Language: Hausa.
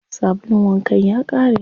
Sabulun wankan ya ƙare.